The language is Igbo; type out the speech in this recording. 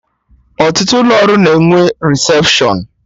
Ọtụtụ ụlọ ọrụ na enwe resepshọn